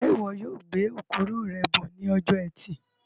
Njẹ ìwo yóò gbé okoro rẹ bọ ní ọjọ ẹtì